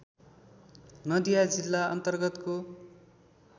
नदिया जिल्ला अन्तर्गतको